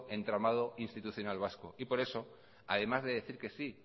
entramado institucional vasco y por eso además de decir que sí